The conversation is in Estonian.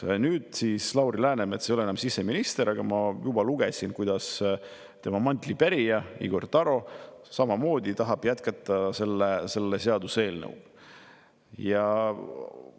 Ma juba lugesin, et nüüd, kui Lauri Läänemets ei ole enam siseminister, tahab tema mantlipärija Igor Taro samamoodi selle seaduseelnõuga jätkata.